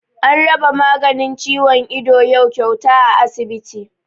An raba maganin ciwon ido yau kyauta a asibiti